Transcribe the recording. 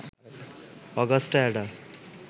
Augusta Ada